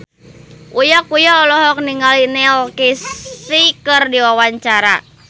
Uya Kuya olohok ningali Neil Casey keur diwawancara